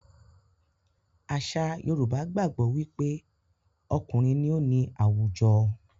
Àṣà Yorùbá gbàgbó wí pé okùnrin ní o ní àwùjọ.